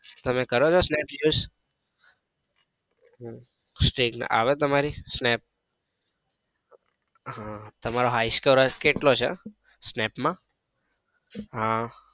તમે કરોછો snap use? હમ stirke ના આવે તમારી? snap તમારો high score કેટલો છે snap માં? હમ